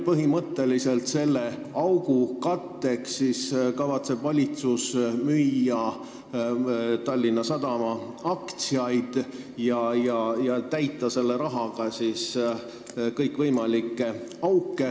Põhimõtteliselt selle miinuse katteks kavatseb valitsus müüa Tallinna Sadama aktsiaid ja täita selle rahaga kõikvõimalikke auke.